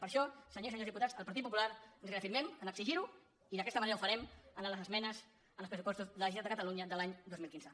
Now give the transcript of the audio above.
per això senyores i senyors diputats el partit popular ens reafirmem a exigir·ho i d’aquesta manera ho fa·rem en les esmenes als pressupostos de la generalitat de catalunya de l’any dos mil quinze